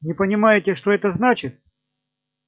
не понимаете что это значит